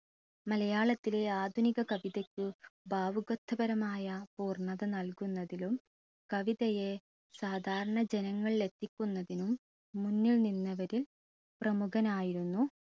മലയാളത്തിലെ ആധുനിക കവിതയ്ക്ക് ഭാവുകത്വപരമായ പൂർണത നൽകുന്നതിലും കവിതയെ സാധാരണ ജനങ്ങളിൽ എത്തിക്കുന്നതിനും മുന്നിൽ നിന്നവരിൽ പ്രമുഖനായിരുന്നു